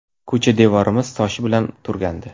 Ko‘cha devorimiz toshi bilan turgandi.